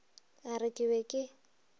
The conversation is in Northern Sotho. a re ke be ke